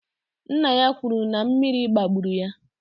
Nna ya kwuru na mmiri gbagburu ya.